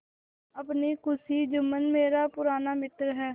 अपनी खुशी जुम्मन मेरा पुराना मित्र है